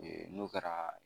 Ee n'o kɛra